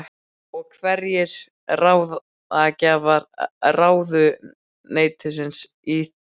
Og hverjir voru ráðgjafar ráðuneytisins í þessum málum?